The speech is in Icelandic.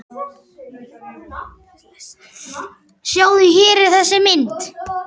Sjáðu, hér er þessi mynd.